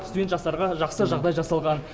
студент жастарға жақсы жағдай жасалған